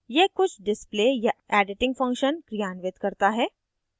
यह कुछ display या editing function क्रियान्वित करता है